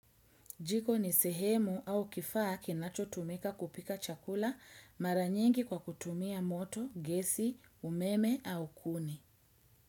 Jiko ni sehemu au kifaa kinato tumeka kupika chakula maranyengi kwa kutumia moto, gesi, umeme au kuni.